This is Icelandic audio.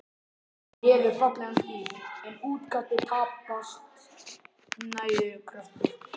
Hann hefur fallegan stíl, en útkastið tæpast nógu kröftugt.